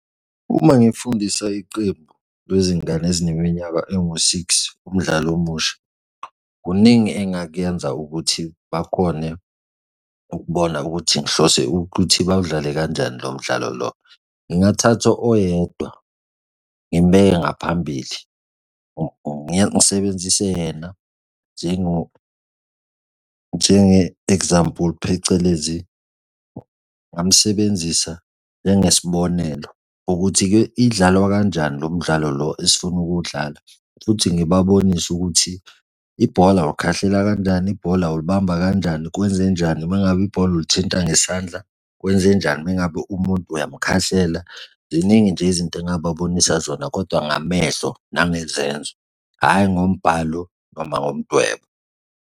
Uma ngifundisa iqembu lezingane ezineminyaka engu-six umdlalo omusha, kuningi engakyenza ukuthi bakhone ukubona ukuthi ngihlose ukuthi bawudlale kanjani lo mdlalo lo. Ngingathatha oyedwa ngimbeke ngaphambili, ngisebenzise yena njenge-example phecelezi ngingamsebenzisa njengesibonelo, ukuthi-ke idlalwa kanjani lo mdlalo lo esifuna ukuwudlala, futhi ngibabonise ukuthi ibhola ulikhahlela kanjani, ibhola ulibamba kanjani, wenzenjani noma ngabe ibhola olithinta ngesandla kwenzenjani uma ngabe umuntu uyamkhahlela, ziningi nje izinto, engingababonisa zona kodwa ngamehlo nangezenzo, hhayi ngombhalo noma ngomdwebo.